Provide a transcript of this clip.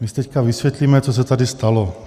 My si teď vysvětlíme, co se tady stalo.